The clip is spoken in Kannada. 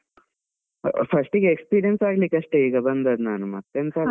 First ಗೆ experience ಆಗ್ಲಿಕ್ಕೆ ಅಷ್ಟೇ ಈಗ ಬಂದದ್ದು ನಾನು, ಮತ್ತೆಂತ ಅಲ್ಲ.